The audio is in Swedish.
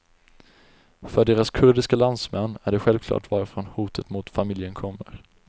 För deras kurdiska landsmän är det självklart varifrån hotet mot familjen kommer.